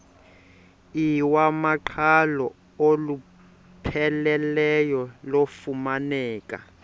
iwamaqhalo olupheleleyo lufumaneka